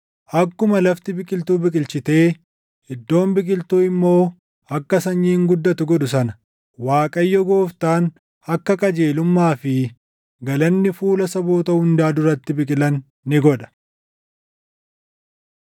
Akkuma lafti biqiltuu biqilchitee iddoon biqiltuu immoo akka sanyiin guddattu godhu sana Waaqayyo Gooftaan akka qajeelummaa fi galanni fuula saboota hundaa duratti biqilan ni godha.